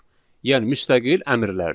Yəni müstəqil əmrlərdir.